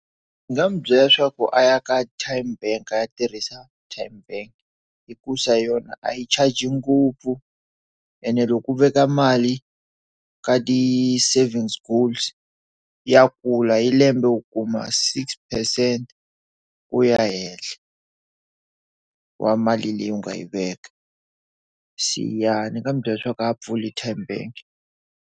Ndzi nga n'wi byela leswaku a ya ka tymebank a ya tirhisa tymebank hikuva hi yona a yi charge ngopfu ene loku veka mali ka ti savings goals ya kula yi lembe u kuma six percent ku ya henhla wa mali leyi u nga yi veka se ya Ndzi nga n'wi byela leswaku a pfula tymebank.